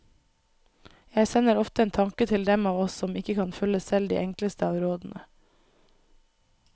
Jeg sender ofte en tanke til dem av oss som ikke kan følge selv de enkleste av rådene.